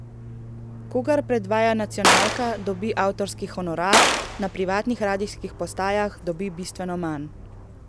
Kogar predvaja nacionalka, dobi avtorski honorar, na privatnih radijskih postajah dobi bistveno manj.